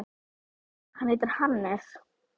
Hann heitir Hannes.